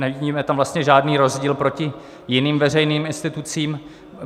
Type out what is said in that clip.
Nevidíme tam vlastně žádný rozdíl proti jiným veřejným institucím.